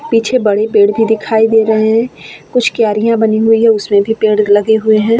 पीछे बड़े पेड़ भी दिखाई दे रहे हैं। कुछ क्यारियां बनी हुई है उसमे भी पेड़ लगे हुए हैं।